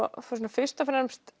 fyrst og fremst